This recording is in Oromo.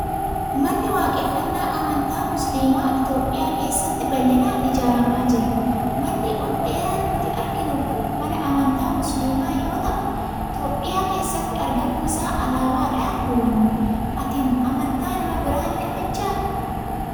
Manni waaqeffannaa amantaa Musliimaa Itoophiyaa keessatti bal'inaan ijaaramaa jira. Manni ol dheeraan nuti arginu kun mana amantaa musliimaa yoo ta'u, Itoophiyaa keessatti argamuu isaa alaabaadhaan hubanna. Ati amantaa nama biraa ni kabajjaa?